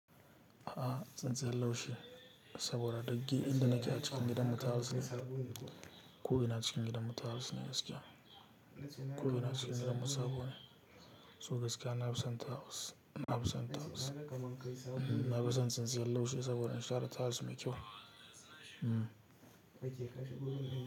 A'a tsintsiyar laushi saboda duk dai inda nake a cikin gidanmu tiles ne. Ko ina cikin gidanmu tiles ne gaskiya. Ko ina cikin gidanmu sabo ne. So gaskiya na fi son tiles. Na fi son tiles. Na fi son tsintsiyar laushi saboda in share tiles mai kyau.